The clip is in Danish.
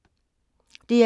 DR2